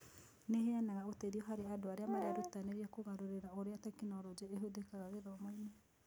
Nĩ ĩheanaga ũteithio harĩ andũ arĩa marerutanĩria kũgarũrĩra ũrĩa tekinoronjĩ ĩhũthĩkaga gĩthomo-inĩ.